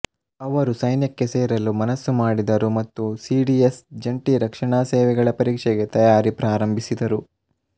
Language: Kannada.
ಅವರು ಸೈನ್ಯಕ್ಕೆ ಸೇರಲು ಮನಸ್ಸು ಮಾಡಿದರು ಮತ್ತು ಸಿಡಿಎಸ್ ಜಂಟಿ ರಕ್ಷಣಾ ಸೇವೆಗಳ ಪರೀಕ್ಷೆ ಗೆ ತಯಾರಿ ಪ್ರಾರಂಭಿಸಿದರು